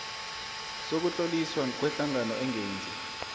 sokutloliswa kwehlangano engenzi